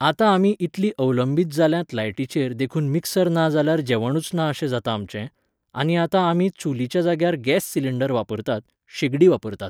आतां आमी इतलीं अवलंबीत जाल्यांत लायटीचेर देखून मिक्सर ना जाल्यार जेवणूच ना अशें जाता आमचें, आनी आतां आमी चुलीच्या जाग्यार गॅस सिलिंडर वापरतात, शेगडी वापरतात.